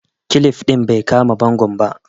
kilip din bai kama bangon ba